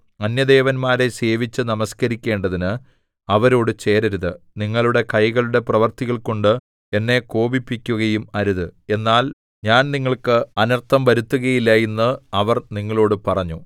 അന്യദേവന്മാരെ സേവിച്ചു നമസ്കരിക്കേണ്ടതിന് അവരോടു ചേരരുത് നിങ്ങളുടെ കൈകളുടെ പ്രവൃത്തികൾകൊണ്ട് എന്നെ കോപിപ്പിക്കുകയും അരുത് എന്നാൽ ഞാൻ നിങ്ങൾക്ക് അനർത്ഥം വരുത്തുകയില്ല എന്നു അവർ നിങ്ങളോടു പറഞ്ഞു